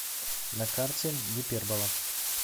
на карте гипербола